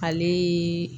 Ale